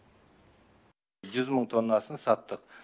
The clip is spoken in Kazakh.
жүз мың тоннасын саттық